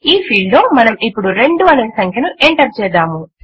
ఈ ఫీల్డ్ లో మనము ఇప్పుడు 2 అనే సంఖ్యను ఎంటర్ చేద్దాము